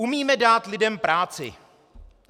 Umíme dát lidem práci.